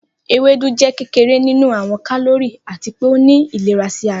Ewedu jẹ kekere ninu awọn kalori, ati pe o ni ilera si ara.